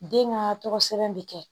Den ka tɔgɔ sɛbɛn bɛ kɛ